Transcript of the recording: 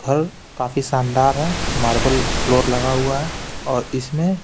घर काफी शानदार है मार्बल फ्लोर लगा हुआ है और इसमें--